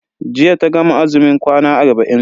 Jiya ta gama azumin kwana arba'in.